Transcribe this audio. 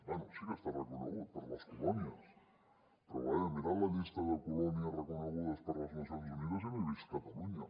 bé sí que està reconegut per a les colònies però vaja he mirat la llista de colònies reconegudes per les nacions unides i no hi he vist catalunya